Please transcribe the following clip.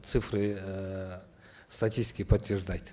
цифры ыыы статистики подтверждать